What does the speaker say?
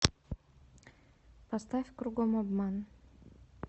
поставь кругом обман